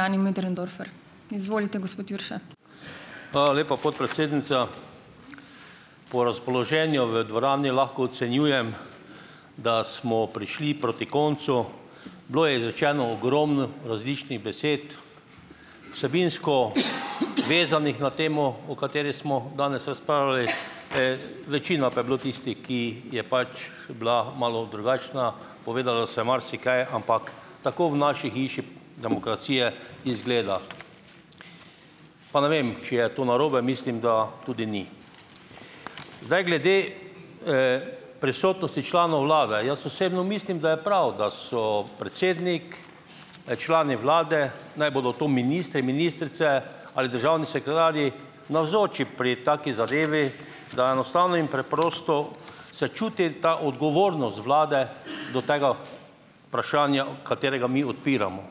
Hvala lepa, podpredsednica. Po razpoloženju v dvorani lahko ocenjujem, da smo prišli proti koncu. Bilo je izrečeno ogromno različnih besed, vsebinsko vezanih na temo, o kateri smo danes razpravljali , večina pa je bilo tistih, ki je pač bila malo drugačna ... Povedalo se je marsikaj, ampak tako v naši hiši demokracije izgleda. Pa ne vem, če je to narobe, mislim, da tudi ni. Zdaj glede, prisotnosti članov vlade. Jaz osebno mislim, da je prav, da so predsednik, člani vlade, naj bodo to ministri, ministrice ali državni sekretarji navzoči pri taki zadevi, da enostavno in preprosto se čuti ta odgovornost vlade do tega vprašanja, katerega mi odpiramo.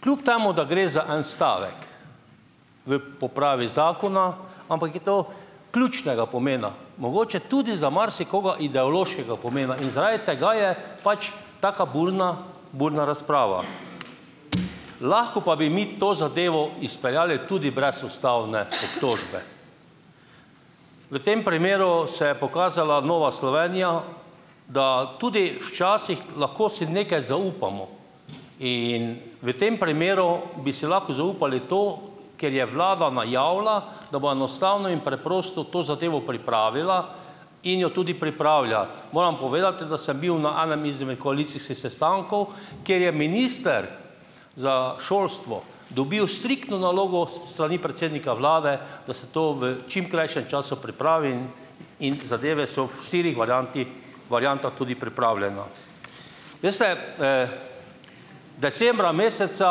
Kljub temu, da gre za en stavek v popravi zakona, ampak je to ključnega pomena. Mogoče tudi za marsikoga ideološkega pomena in zaradi tega je pač taka burna burna razprava. Lahko pa bi mi to zadevo izpeljali tudi brez ustavne obtožbe . V tem primeru se je pokazala Nova Slovenija, da tudi včasih lahko si nekaj zaupamo in v tem primeru bi si lahko zaupali to, ker je vlada najavila, da bo enostavno in preprosto to zadevo pripravila in jo tudi pripravlja. Moram povedati, da sem bil na enem izmed koalicijskih sestankov, kjer je minister za šolstvo dobil striktno nalogo s strani predsednika vlade, da se to v čim krajšem času pripravi, in in zadeve so v štirih varianti variantah tudi pripravljene. Veste, decembra meseca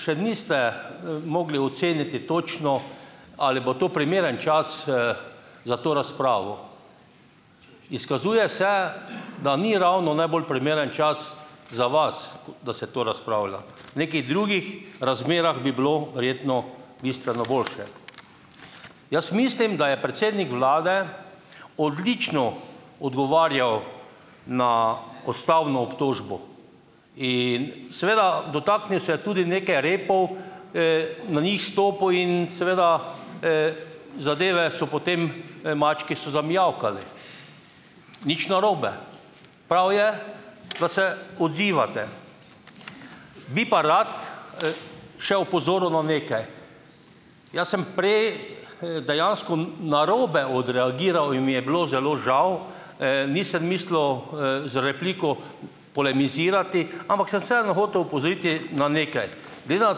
še niste, mogli oceniti točno, ali bo to primeren čas, za to razpravo. Izkazuje se, da ni ravno najbolje primeren čas za vas, da se to razpravlja. V nekih drugih razmerah bi bilo verjetno bistveno boljše. Jaz mislim, da je predsednik vlade odlično odgovarjal na ustavno obtožbo in seveda dotaknil se je tudi nekaj repov, na njih stopil in seveda, zadeve so potem, mački so zamijavkali. Nič narobe, prav je, da se odzivate. Bi pa rad, še opozoril na nekaj. Jaz sem prej, dejansko narobe odreagiral in mi je bilo zelo žal. Nisem mislil, z repliko polemizirati, ampak sem vseeno hotel opozoriti na nekaj. Da na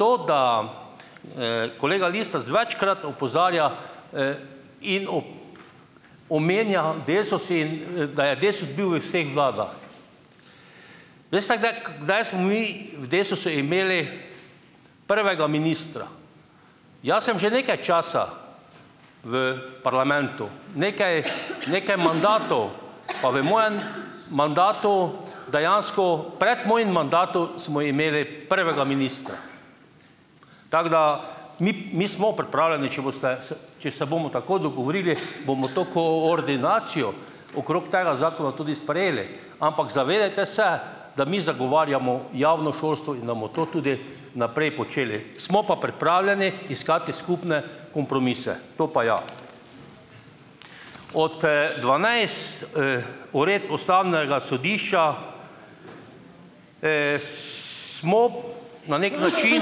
to, da, kolega Lisec večkrat opozarja, in omenja Desus in, da je Desus bil v vseh vladah. Veste, kdaj kdaj smo mi v Desusu imeli prvega ministra? Jaz sem že nekaj časa v parlamentu, nekaj nekaj mandatov, pa v mojem mandatu dejansko, pred mojim mandatom smo imeli prvega ministra, tako da mi mi smo pripravljeni, če boste se, če se bomo tako dogovorili, bomo to koordinacijo okrog tega zakona tudi sprejeli. Ampak zavedajte se, da mi zagovarjamo javno šolstvo in da bomo to tudi naprej počeli. Smo pa pripravljeni iskati skupne kompromise, to pa ja. Od, dvanajst, uredb ustavnega sodišča, smo na neki način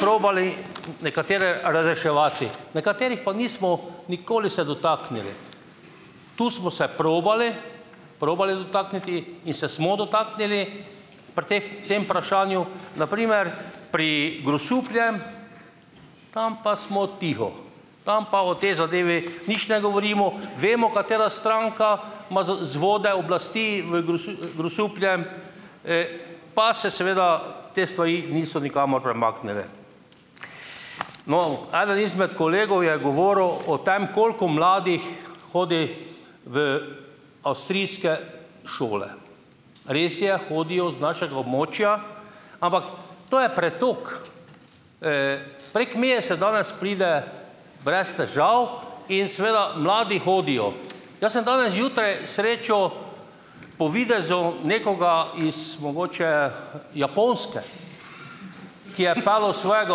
probali nekatere razreševati. Nekaterih pa nismo nikoli se dotaknili. Tu smo se probali, probali dotakniti in se smo dotaknili pri teh tem vprašanju, na primer, pri Grosupljem, tam pa smo tiho. Tam pa o tej zadevi nič ne govorimo, vemo, katera stranka ima vzvode oblasti v Grosupljem, pa se seveda te stvari niso nikamor premaknile. No, eden izmed kolegov je govoril o tem, koliko mladih hodi v avstrijske šole. Res je, hodijo z našega območja, ampak to je pretok. Prek meje se danes pride brez težav in seveda mladi hodijo. Jaz sem danes zjutraj srečo po videzu nekoga iz mogoče Japonske, ki je peljal svojega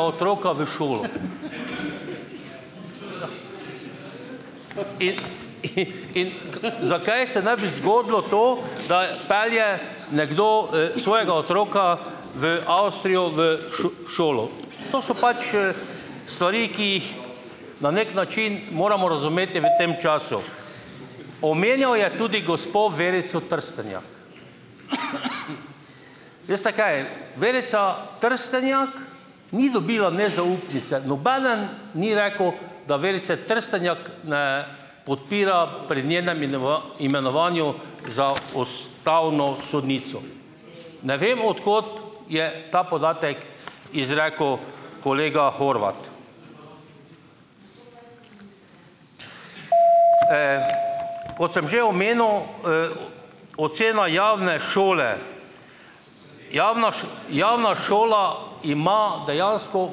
otroka v šolo. In in in zakaj se ne bi zgodilo to, da pelje nekdo, svojega otroka v Avstrijo v šolo. To so pač, stvari, ki jih na neki način moramo razumeti v tem času. Omenjal je tudi gospo Verico Trstenjak. Veste kaj, Verica Trstenjak ni dobila nezaupnice, nobeden ni rekel, da Verice Trstenjak ne podpira pri njenem imenovanju za ustavno sodnico. Ne vem od kod je ta podatek izrekel kolega Horvat. Kot sem že omenil, ocena javne šole. Javna javna šola ima dejansko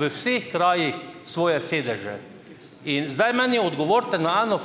v vseh krajih svoje sedeže in zdaj meni odgovorite na eno ...